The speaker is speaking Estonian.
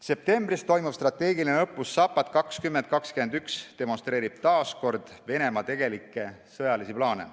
Septembris toimuv strateegiline õppus Zapad 2021 demonstreerib taas Venemaa tegelikke sõjalisi plaane.